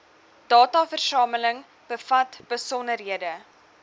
dataversameling bevat besonderhede